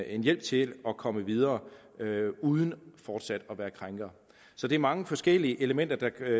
en hjælp til at komme videre uden fortsat at være krænkere så det er mange forskellige elementer der